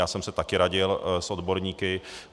Já jsem se také radil s odborníky.